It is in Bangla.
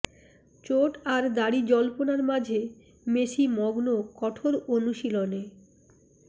চোট আর দাড়ি জল্পনার মাঝে মেসি মগ্ন কঠোর অনুশীলনে